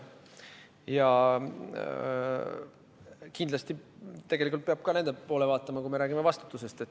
Ja kindlasti tegelikult peab ka nende poole vaatama, kui me räägime vastutusest.